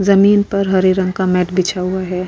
ज़मीन पर हरे रंग का मैट बिछा हुआ है।